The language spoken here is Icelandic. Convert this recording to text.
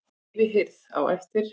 Yfirheyrð á eftir